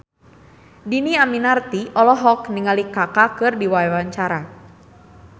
Dhini Aminarti olohok ningali Kaka keur diwawancara